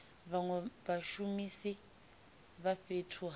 vhanwe vhashumisi vha fhethu ha